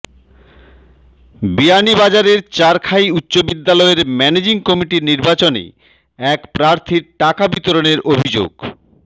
বিয়ানীবাজারের চারখাই উচ্চ বিদ্যালয়ের ম্যানেজিং কমিটির নির্বাচনে এক প্রার্থীর টাকা বিতরণের অভিযোগ